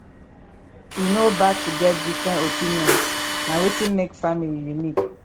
e no bad to get different opinions na wetin make family unique